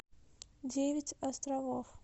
девять островов